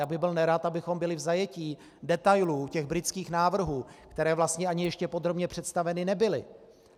Já bych byl nerad, abychom byli v zajetí detailů těch britských návrhů, které vlastně ani ještě podrobně představeny nebyly.